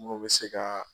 Mun bɛ se ka